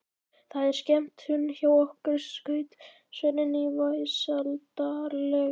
Það var skemmtun hjá okkur, skaut Svenni inn í vesældarlega.